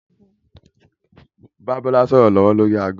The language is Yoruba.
Mo ń bá Bọlá sọ̀rọ̀ lọ́wọ́ lórí ago